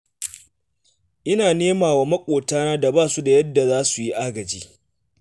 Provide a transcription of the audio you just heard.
Ina nema wa maƙotana da ba su da yadda za su yi agaji.